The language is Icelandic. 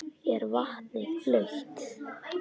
Er vatnið blautt?